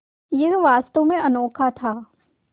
यह वास्तव में अनोखा था